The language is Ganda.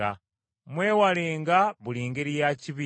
Mwewalenga buli ngeri ya kibi.